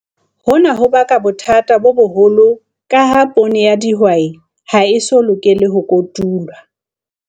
Hona ho baka bothata bo boholo ka ha poone ya dihwai ha e eso lokele ho kotulwa.